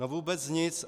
No vůbec nic.